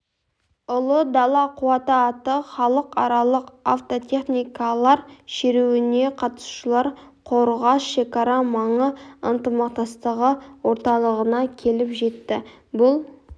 ұлы дала қуаты атты халықаралық автотехникалар шеруіне қатысушылар қорғас шекара маңы ынтымақтастығы орталығына келіп жетті бұл